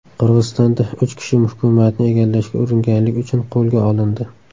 Qirg‘izistonda uch kishi hukumatni egallashga uringanlik uchun qo‘lga olindi.